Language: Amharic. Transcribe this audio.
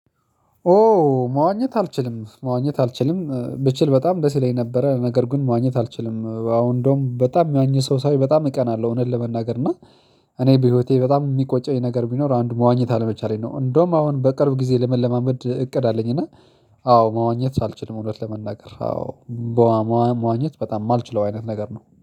ኦ መዋኘት አልችልም። መዋኘት አልችልም ብችል በጣም ደስ ይለኝ ነበረ ነገር ግን መዋኜት አልችልም። አሁን እንደውም በጣም ያኝ ሰው ሳይ በጣም እቀናለሁ። እውነት ለመናገር እና እኔ በህይወቴ በጣም የሚቆጨው ነገር ቢኖር አንድ መዋኘት አለመቻሌን ነው። እንደውም አሁን በቅርብ ጊዜ ለመለማመድ እቅድ አለኝ። እና አዎ መዋኘት አልችልም ሁለት ለመናገር አዎ። መዋኘት በጣም የማልችለው አይነት ነገር ነው